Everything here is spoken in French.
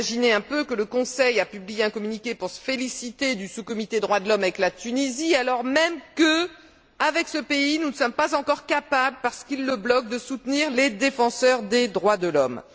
Imaginez vous le Conseil a publié un communiqué pour se féliciter du sous comité droits de l'homme avec la Tunisie, alors même que, avec ce pays, nous ne sommes pas encore capables parce qu'il fait obstacle de soutenir les défenseurs des droits de l'homme.